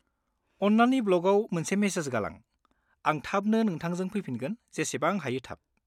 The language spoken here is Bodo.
अन्नानै ब्लगाव मोनसे मेसेज गालां, आं थाबनो नोंथांजों फैफिनगोन जेसेबां हायो थाब।